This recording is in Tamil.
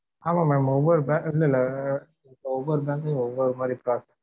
ஆமா mam ஒவ்வொரு bank ல ஒவ்வொரு பேங்க்ளையும் ஒவ்வொரு மாதிரி process